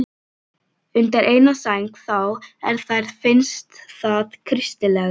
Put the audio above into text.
Undir eina sæng þá, ef þér finnst það kristilegra.